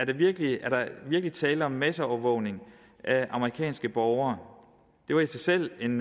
virkelig tale om masseovervågning af amerikanske borgere det var i sig selv en